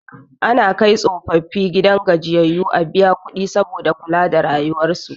Ana kai tsofaffi gidan gajiyayyu a biya kudi saboda kula da rayuwan su